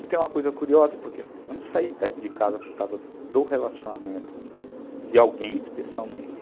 E tem uma coisa curiosa, porque eu não saí de casa por causa do relacionamento de alguém especialmente.